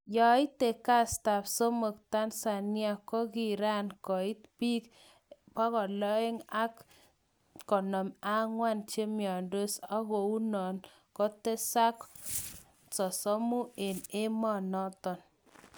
Yeite kastab somok Tanzania kokiran koit bik254 chemiondos ako kounon kotesak 30 eng emonoton .